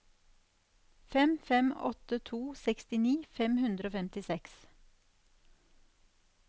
fem fem åtte to sekstini fem hundre og femtiseks